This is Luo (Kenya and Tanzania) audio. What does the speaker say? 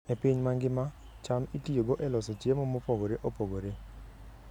E piny mangima, cham itiyogo e loso chiemo mopogore opogore.